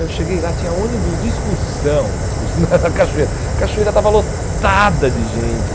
Eu cheguei lá, tinha ônibus de excursão na cachoeira, a cachoeira estava lotada de gente.